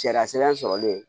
Sariya sɛbɛn sɔrɔlen